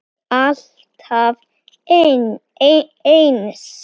Alltaf eins.